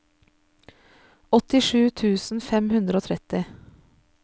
åttisju tusen fem hundre og tretti